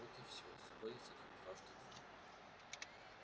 вот и всё сходится как дважды два